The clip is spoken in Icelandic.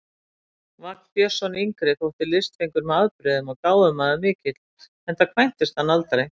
Vagn Björnsson yngri þótti listfengur með afbrigðum og gáfumaður mikill, enda kvæntist hann aldrei.